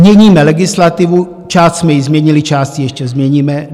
Měníme legislativu, část jsme jí změnili, část jí ještě změníme.